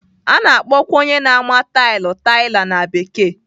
A na-akpọkwa onye na-ama tailu "tiler" na Bekee.